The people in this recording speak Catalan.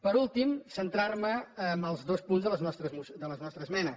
per últim centrar me en els dos punts de les nostres esmenes